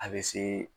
A bɛ se